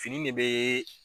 Fini de bɛ